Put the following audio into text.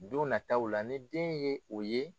Don nataw la ni den ye o ye